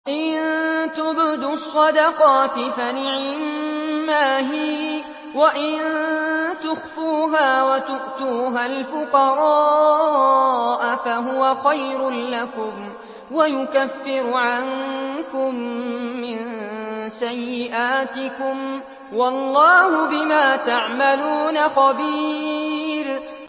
إِن تُبْدُوا الصَّدَقَاتِ فَنِعِمَّا هِيَ ۖ وَإِن تُخْفُوهَا وَتُؤْتُوهَا الْفُقَرَاءَ فَهُوَ خَيْرٌ لَّكُمْ ۚ وَيُكَفِّرُ عَنكُم مِّن سَيِّئَاتِكُمْ ۗ وَاللَّهُ بِمَا تَعْمَلُونَ خَبِيرٌ